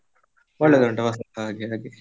ಒಳ್ಳೇದುಂಟಾ ಪಸಲ್, ಹಾಗೆ ಹಾಗೆ.